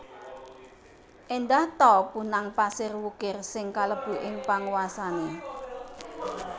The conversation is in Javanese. Éndah ta punang pasir wukir sing kalebu ing panguwasané